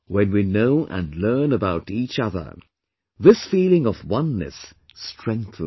When we know and learn about each other, this feeling of oneness strengthens